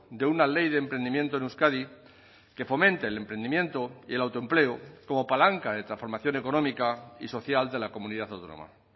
de una ley de emprendimiento en euskadi que fomente el emprendimiento y el autoempleo como palanca de transformación económica y social de la comunidad autónoma